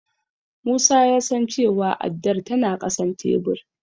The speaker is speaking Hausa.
Musa ya san cewa addar tana ƙasan tebur.